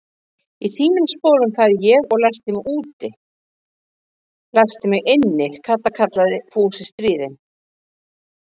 Í þínum sporum færi ég og læsti mig inni, Kata kallaði Fúsi stríðinn.